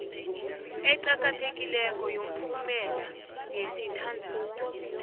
eqakathekileko yomphumela yesithandathu